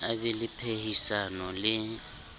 a be le phehisano le